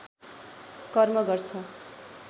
कर्म गर्छ